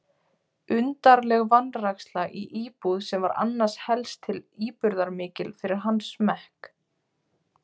Undarleg vanræksla í íbúð sem var annars helst til íburðarmikil fyrir hans smekk.